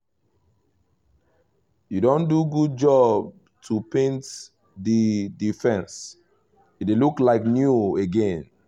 you don do good job to paint the the fence — e dey look like new again